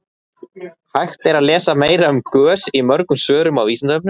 hægt er að lesa meira um gös í mörgum svörum á vísindavefnum